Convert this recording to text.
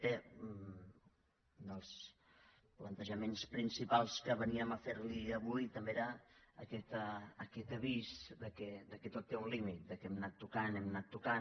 bé un dels plantejaments principals que veníem a fer li avui també era aquest avís que tot té un límit que hem anat tocant hem anat tocant